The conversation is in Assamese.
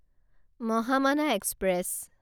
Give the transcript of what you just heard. মহামানা এক্সপ্ৰেছ